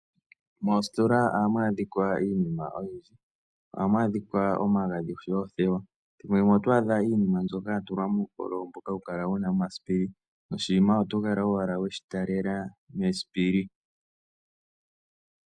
Moositola ohamu adhika iinima oyindji ohamu adhika omagadhi oshowo oothewa ethimbo limwe oto adha iinima mbyoka ya tulwa muukololo mboka wuna omasipili noshinima oto kala owala weshi talela mesipili.